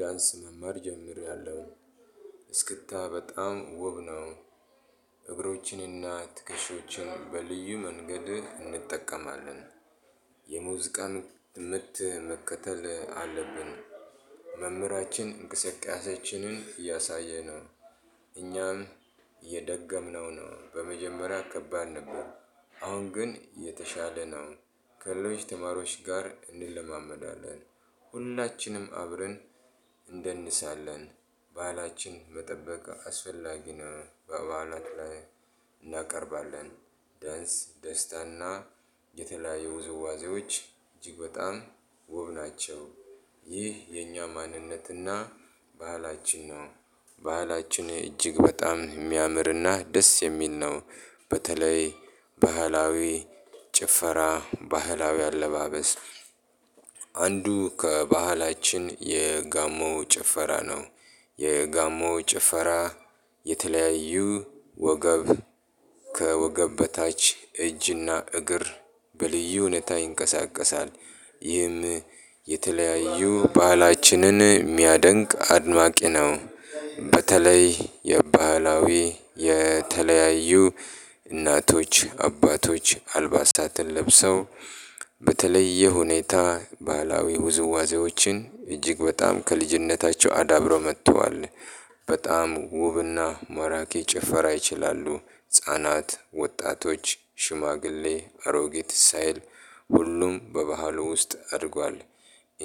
ዳንስ መማር ጀምርያለው እስክታ በጣም ውብ ነው። እግሮችን እና ትክሾዎችን በልዩ መንገድ እንጠቀማለን። የሙዝቃን ምት መከተል አለብን። መምህራችን እንቅስቃሴያችንን እያሳየን ነው። እኛም እየደገምነው ነው በመጀመሪያ ከባድ ነበር። አሁን ግን የተሻለ ነው። ከለሎች ተማሪዎች ጋር እንለማመዳለን። ሁላችንም አብረን እንደንሳለን። ባህላችን መጠበቅ አስፈላጊ ነው በበዓላት ላይ እናቀርባለን። ደስ ደስታና የተለያዩ ውዝዋዜዎች እጅግ በጣም ውብ ናቸው። ይህ የኛ ማንነትና ባህላችን ነው። ባህላችን እጅግ በጣም የሚያምርና ደስ የሚል ነው። በተለይ ባህላዊ ጭፈራ ባህላዊ አለባበስ። አንዱ ከባህላችን የጋሞ ጭፈራ ነው። የጋሞ ጭፈራ የተለያዩ ወገብ ከወገብ በታች እጅና እግር በልዩ ሁኔታ ይንቀሳቀሳል። ይህም የተለያዩ ባህላችንን የሚያደንቅ አድማቂ ነው። በተለይ የባህላዊ የተለያዩ እናቶች አባቶች አልባሳትን ለብሰው በተለየ ሁኔታ ባህላዊ ውዝዋዜዎችን እጅግ በጣም ከልጅነታቸው አዳብረው መጥተዋል። በጣም ውብና ማራኪ ጭፈራ ይችላሉ። ህፃናት ወጣቶች ሽማግሌ አሮጌት ሳይል ሁሉም በባህሉ ውስጥ አድጓል።